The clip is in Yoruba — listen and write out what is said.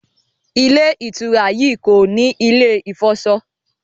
Ilé-ìtura yí kọ ní ilè ifọṣọ